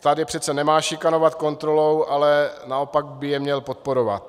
Stát je přece nemá šikanovat kontrolou, ale naopak by je měl podporovat.